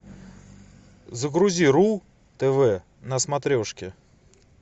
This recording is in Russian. загрузи ру тв на смотрешке